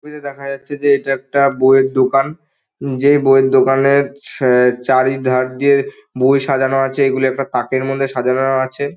ছবিতে দেখা যাচ্ছে যে এটা একটা বইয়ের দোকান যে বইয়ের দোকানে অ্যা চারিধার দিয়ে বই সাজানো আছে এইগুলি একটা তাকের মধ্যে সাজানো আছে।